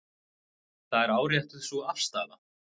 Það er áréttuð sú afstaða.